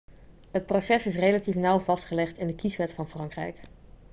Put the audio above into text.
het proces is relatief nauw vastgelegd in de kieswet van frankrijk